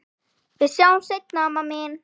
Við sjáumst seinna, amma mín.